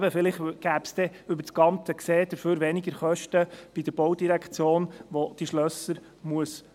Vielleicht gäbe es dann, über das Ganze gesehen, stattdessen weniger Kosten bei der Baudirektion, welche diese Schlösser unterhalten muss.